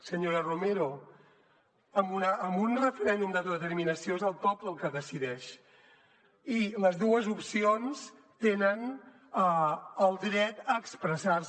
senyora romero en un referèndum d’autodeterminació és el poble el que decideix i les dues opcions tenen el dret a expressar se